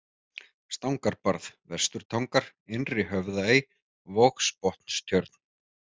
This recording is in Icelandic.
Stangarbarð, Vesturtangar, Innri-Höfðaey, Vogsbotnstjörn